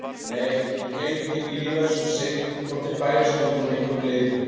Þeir gætu því ekki lifað í Surtsey þótt þeir bærust þangað með einhverjum leiðum.